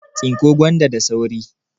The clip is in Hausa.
Tsinko gwanda da sauri!